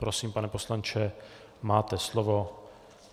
Prosím, pane poslanče, máte slovo.